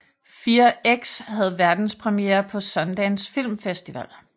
Fear X havde verdenspremiere på Sundance Film Festival